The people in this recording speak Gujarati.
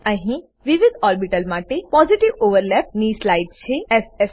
અહી વિવિધ ઓર્બીટલ માટે પોઝિટિવ ઓવરલેપ પોઝિટિવ ઓવરલેપ ની સ્લાઈડ છે